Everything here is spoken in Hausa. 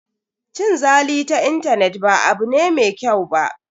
Cin zali ta intanet ba abu ne mai kyau ba.